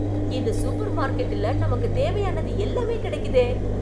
இந்த சூப்பர் மார்க்கெட்டுல, நமக்கு தேவையானது எல்லாமே கெடைக்குதே...